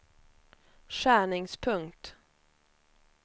skärningspunkt